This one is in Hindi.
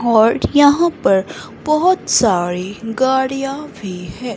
और यहां पर बहुत सारी गाड़ियां भी है।